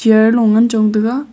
chair lo ngan chong taga.